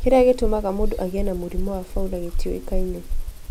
Kĩrĩa gĩtũmaga mũndũ agĩe na mũrimũ wa Fowler gĩtiũĩkaine.